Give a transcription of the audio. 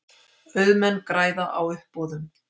Auðmenn græða á uppboðum